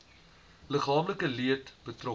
liggaamlike leed betrokke